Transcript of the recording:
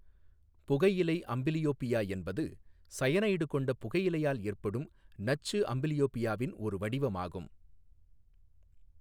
புகையிலை அம்பிலியோபியா என்பது சயனைடு கொண்ட புகையிலையால் ஏற்படும் நச்சு அம்ப்லியோபியாவின் ஒரு வடிவமாகும்.